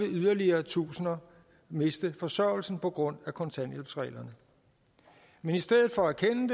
yderligere tusinder miste forsørgelsen på grund af kontanthjælpsreglerne men i stedet for